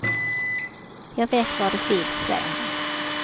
Jag vet var de finns, säger han.